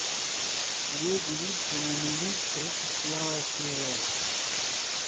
две девицы на мели тридцать первая серия